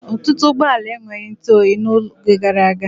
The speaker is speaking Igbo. Ọtụtụ ụgbọala enweghị ntụoyi n'oge gara aga.